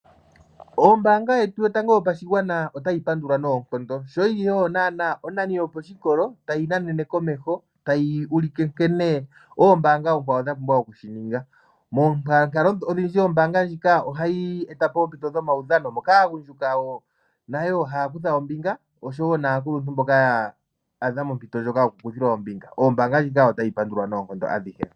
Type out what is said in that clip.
Ombanga yetu yotango yopashigwana otayi pandulwa nonkondo sho yili oyo onani yoposhikolo tayi na nene komeho, noku ulika nkene ombanga onkwawo dha pumbwa oku shi ninga. Moonkalo odhindji ombanga ndjika oha yi etapo ompito dhomaudhano moka aagundjuka oshowo aakuluntu haya kutha ombinga notayi pandulwa nonkondo.